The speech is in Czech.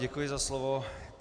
Děkuji za slovo.